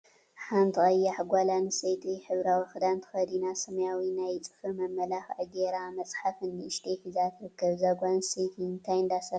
ሓንቲ ቀያሕ ጓል አንስተይቲ ሕብራዊ ክዳን ተከዲና ሰማያዊ ናይ ፅፍሪ መመላክዒ ገይራ መፅሓፍ ንእሽተይ ሒዛ ትርከብ፡፡ እዛ ጓል አንስተይቲ እንታይ እንዳሰርሐት ትርከብ?